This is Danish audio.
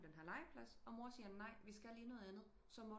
På den her legeplads og mor siger nej vi skal lige noget andet så